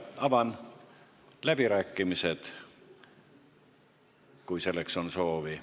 Avan läbirääkimised, kui selleks on soovi.